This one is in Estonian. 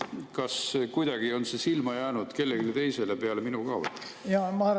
Kas kuidagi on see silma jäänud kellelegi teisele peale minu ka või?